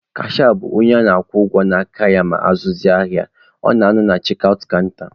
Kashịa bụ onye a na-akwụ ụgwọ n'aka ya ma azụzịa ahịa, ọ na-anọ na chek aụt kanta.